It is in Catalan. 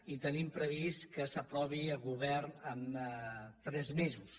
i tenim previst que l’aprovi el govern en tres mesos